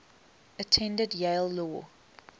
attended yale law